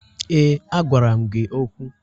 Ee, a gwara m gị okwu.